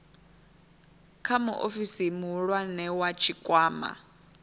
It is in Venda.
kha muofisi muhulwane wa tshikwama